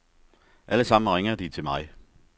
Alle sammen ringer de til mig.